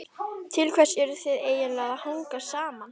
Til hvers eruð þið eiginlega að hanga saman?